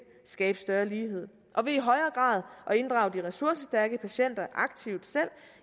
skabe større lighed og ved i højere grad at inddrage de ressourcestærke patienter aktivt selv